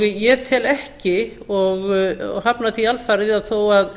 ég tel ekki og hafna því alfarið að þó að